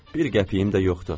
Bir qəpiyim də yoxdur.